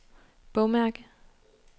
bogmærke